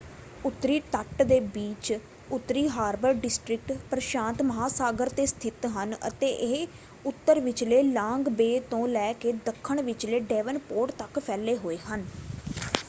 ਉੱਤਰੀ ਤਟ ਦੇ ਬੀਚ ਉੱਤਰੀ ਹਾਰਬਰ ਡਿਸਟ੍ਰਿਕਟ ਪ੍ਰਸ਼ਾਂਤ ਮਹਾਂਸਾਗਰ 'ਤੇ ਸਥਿਤ ਹਨ ਅਤੇ ਇਹ ਉੱਤਰ ਵਿਚਲੇ ਲਾਂਗ ਬੇਅ ਤੋਂ ਲੈ ਕੇ ਦੱਖਣ ਵਿਚਲੇ ਡੈਵਨਪੋਰਟ ਤੱਕ ਫੈਲੇ ਹੋਏ ਹਨ।